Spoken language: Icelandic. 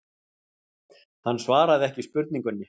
Hann svaraði ekki spurningunni.